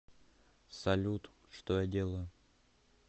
салют что я делаю